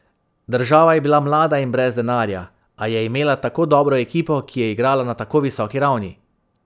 Država je bila mlada in brez denarja, a je imela tako dobro ekipo, ki je igrala na tako visoki ravni.